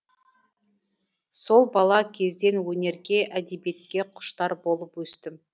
сол бала кезден өнерге әдебиетке құштар болып өстім